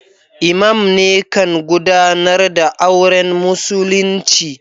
lmam ne kan gudanar da auren musulinci.